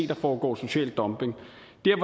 der foregår social dumping